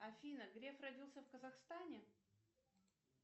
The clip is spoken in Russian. афина греф родился в казахстане